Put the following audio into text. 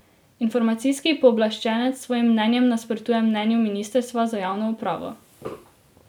Informacijski pooblaščenec s svojim mnenjem nasprotuje mnenju ministrstva za javno upravo.